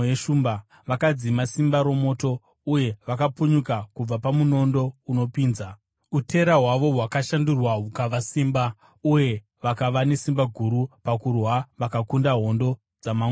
vakadzima simba romoto, uye vakapunyuka kubva pamunondo unopinza, utera hwavo hwakashandurwa hukava simba uye vakava nesimba guru pakurwa vakakunda hondo dzamamwe marudzi.